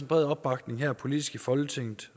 bred opbakning her politisk i folketinget